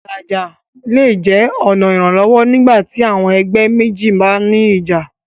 Ìlàjà́ lẹ̀ jẹ́ ọ̀na iranlọwọ́ nígbàtí àwọn ẹgbẹ̀ mẹ́jì bá ní ìjà́.